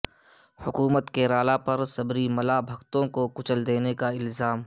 حکومت کیرالا پر سبری ملا بھکتوں کو کچل دینے کا الزام